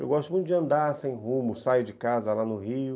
Eu gosto muito de andar sem rumo, saio de casa lá no Rio.